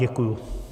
Děkuji.